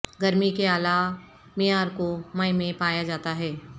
گرمی کے اعلی معیار کو مئی میں پایا جاتا ہے